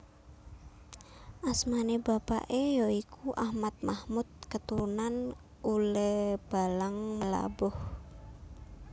Asmane bapake ya iku Ahmad Mahmud keturunan Uleebalang Meulaboh